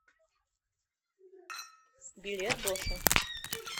билет боше